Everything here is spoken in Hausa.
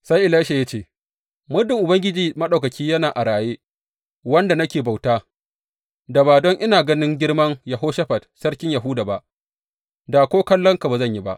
Sai Elisha ya ce, Muddin Ubangiji Maɗaukaki yana a raye, wanda nake bauta, da ba don ina ganin girman Yehoshafat Sarkin Yahuda ba, da ko kallonka ba zan yi ba.